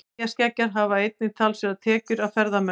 Eyjaskeggjar hafa einnig talsverðar tekjur af ferðamönnum.